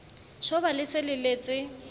tjhoba le se le letse